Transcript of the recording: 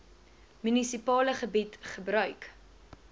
munisipale gebied gebruik